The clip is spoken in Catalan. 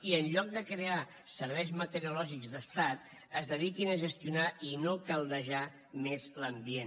i en lloc de crear serveis meteorològics d’estat es dediquin a gestionar i no a caldejar més l’ambient